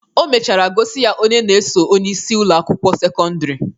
O mechara gosi ya onye na-eso onyeisi Ụlọ akwụkwọ sekọndrị